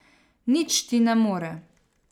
Nič ti ne more.